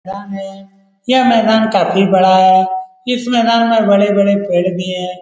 मैदान है | यह मैदान काफी बड़ा है | इस मैदान में बड़े बड़े पेड़ भी है ।